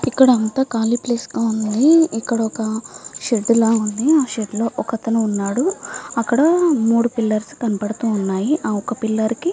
ఇక్కడ అంతా కాళీ ప్లేస్ గా వుంది ఇక్కడ ఒక షెడ్ లా వుంది ఆ షెడ్ లో ఒక అతను వున్నాడు అక్కడ మూడు పిల్లర్స్ కనబడుతూ వున్నాయ్ ఆ ఒక్క పిల్లర్ కి --